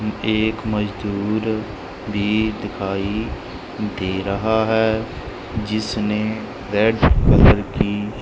एक मजदूर भी दिखाई दे रहा है जिसने रेड कलर की--